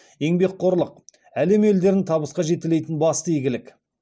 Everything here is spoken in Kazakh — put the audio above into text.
еңбекқорлық әлем елдерін табысқа жетелейтін басты игілік